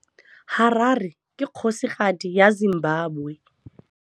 Harare ke kgosigadi ya Zimbabwe.